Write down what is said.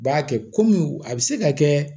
B'a kɛ kɔmi a bɛ se ka kɛ